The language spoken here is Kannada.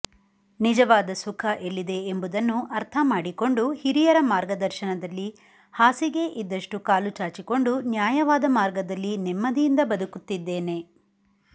ನಿಜವಾದ ಸುಖ ಎಲ್ಲಿದೆ ಎಂಬುದನ್ನು ಅರ್ಥಮಾಡಿಕೊಂಡು ಹಿರಿಯರ ಮಾರ್ಗದರ್ಶನದಲ್ಲಿ ಹಾಸಿಗೆ ಇದ್ದಷ್ಟು ಕಾಲು ಚಾಚಿಕೊಂಡು ನ್ಯಾಯವಾದ ಮಾರ್ಗದಲ್ಲಿ ನೆಮ್ಮದಿಯಿಂದ ಬದುಕುತ್ತಿದ್ದೇನೆ